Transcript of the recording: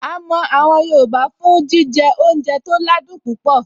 A mọ àwọn yoòbá fún jíjẹ oúnjẹ tó ládùn púpọ̀